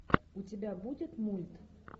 у тебя будет мульт